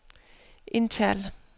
indtal